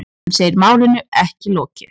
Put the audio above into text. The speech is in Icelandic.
Hann segir málinu ekki lokið.